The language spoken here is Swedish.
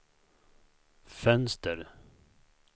fönster